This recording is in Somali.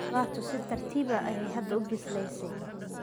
Qudaartu si tartiib ah ayay hadda u bislaysaa.